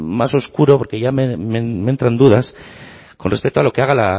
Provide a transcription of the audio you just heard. más oscuro porque ya me entran dudas con respecto a lo que haga